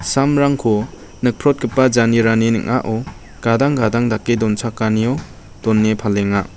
samrangko nikprotgipa janerani ning·ao gadang gadang dake donchakanio done palenga.